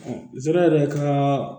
zon yɛrɛ ka